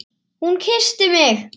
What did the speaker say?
Hún kyssti mig!